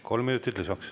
Kolm minutit lisaks.